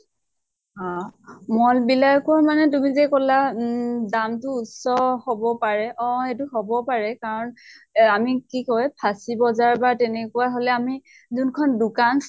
আ mall বিলাকো মানে তুমি যে কলা উম দাম টো উচ্চ হʼব পাৰে । অʼ এইতো হব পাৰে কাৰণ এ আমি কি কয় ফাঁচী বজাৰ বা তেনেকুৱা হʼলে আমি যোনখন দোকান